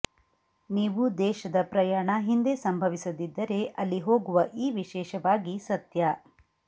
ನೀವು ದೇಶದ ಪ್ರಯಾಣ ಹಿಂದೆ ಸಂಭವಿಸದಿದ್ದರೆ ಅಲ್ಲಿ ಹೋಗುವ ಈ ವಿಶೇಷವಾಗಿ ಸತ್ಯ